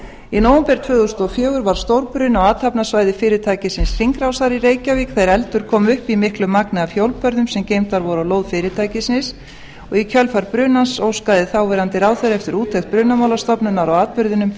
í nóvember tvö þúsund og fjögur varð stórbruni á athafnasvæði fyrirtækisins hringrásar í reykjavík þegar eldur kom upp í miklu magni af hjólbörðum sem geymdir voru á lóð fyrirtækisins í kjölfar brunans óskaði þáv ráðherra eftir úttekt brunamálastofnunar